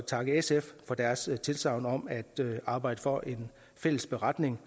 takke sf for deres tilsagn om at arbejde for en fælles beretning